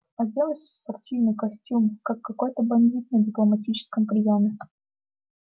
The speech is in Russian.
оделась в спортивный костюм как какой-то бандит на дипломатическом приёме